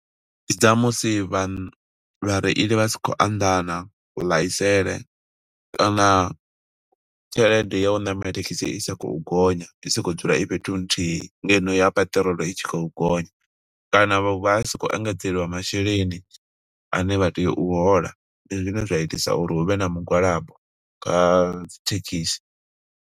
Ndi dza musi vha, vha reili vha sa khou anḓana ku ḽaisele, kana tshelede ya u ṋamela thekhisi i sa khou gonya, i soko u dzula i fhethu huthihi, ngeno ya peṱirolo i tshi khou gonya. Kana vha si khou engedzelwa masheleni ane vha tea u hola, ndi zwine zwa itisa uri huvhe na mugwalabo kha dzi thekhisi.